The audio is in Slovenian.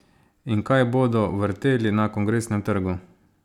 In kaj bodo vrteli na Kongresnem trgu?